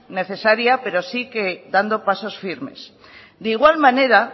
necesaria pero sí dando pasos firmes de igual manera